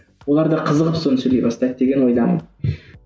оларда қызығып соны сөйлей бастайды деген ойдамын